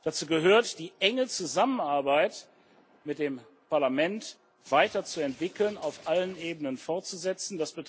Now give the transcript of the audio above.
Dazu gehört, die enge Zusammenarbeit mit dem Parlament weiterzuentwickeln, auf allen Ebenen fortzusetzen.